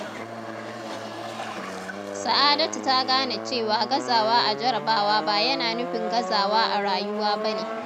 Sa’adatu ta gane cewa gazawa a jarrabawa ba yana nufin gazawa a rayuwa ba ne.